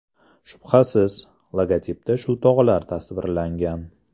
Shubhasiz, logotipda shu tog‘lar tasvirlangan.